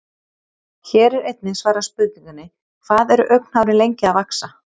Hér er einnig svarað spurningunni: Hvað eru augnhárin lengi að vaxa?